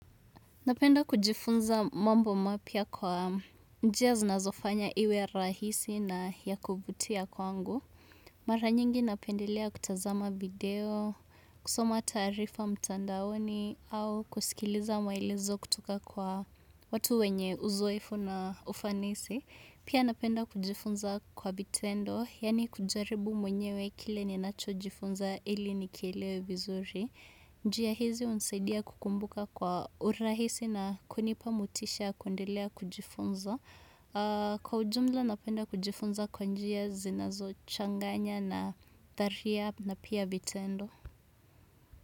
Napenda kujifunza mambo mapya kwa njia zinazofanya iwe rahisi na ya kuvutia kwangu. Mara nyingi napendelea kutazama video, kusoma tarifa mtandaoni au kusikiliza maelezo kutoka kwa watu wenye uzoefu na ufanisi. Pia napenda kujifunza kwa vitendo, yani kujaribu mwenyewe kile ninacho jifunza ili nikielewe vizuri. Njia hizi unsaidia kukumbuka kwa urahisi na kunipa motisha ya kuendelea kujifunza. Kwa ujumla napenda kujifunza kwa njia zinazo changanya na tharia na pia vitendo.